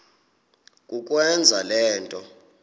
kukwenza le nto